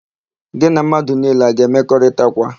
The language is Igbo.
Gị na mmadụ niile a ga-emekọrịtakwa?